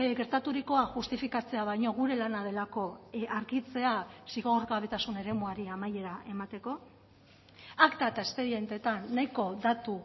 gertaturikoa justifikatzea baino gure lana delako argitzea zigorgabetasun eremuari amaiera emateko akta eta espedientetan nahiko datu